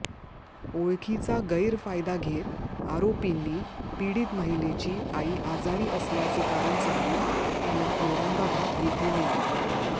ओळखीचा गैरफायदा घेत आरोपींनी पीडित महिलेची आई आजारी असल्याचे कारण सांगून तिला औरंगाबाद येथे नेले